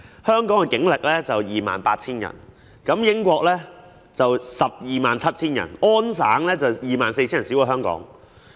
香港警力約 28,000 人，英國有 127,000 人，而加拿大安省則有 24,000 人，較香港少。